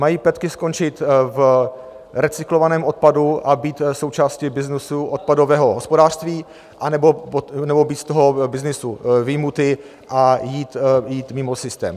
Mají petky skončit v recyklovaném odpadu a být součástí byznysu odpadového hospodářství, anebo být z toho byznysu vyjmuty a jít mimo systém?